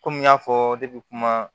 Komi n y'a fɔ debi kuma